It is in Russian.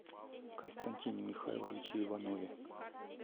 константине михайловиче иванове